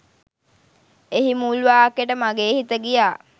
එහි මුල් වාක්‍යට මගේ හිත ගියා.